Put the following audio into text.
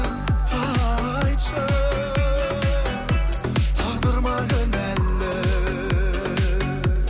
айтшы тағдыр ма кінәлі